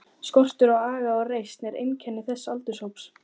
Skortur á aga og reisn er einkenni þessa aldurshóps.